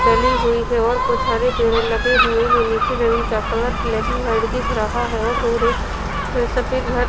डली हुई है और कुछ हरे पेड़ लगे हुए हैं नीचे जमीन का कलर ब्लैक एंड वाइट दिख रहा है और दूर एक सफ़ेद घर--